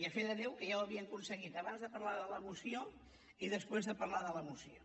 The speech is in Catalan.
i a fe de déu que ja ho havien aconseguit abans de parlar de la moció i després de parlar de la moció